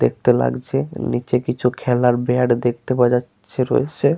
দেখতে লাগছে নিচে কিছু খেলার ব্যাট দেখতে পাওয়া যাচ্ছে রয়েছে।